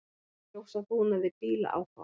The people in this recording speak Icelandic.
Ljósabúnaði bíla áfátt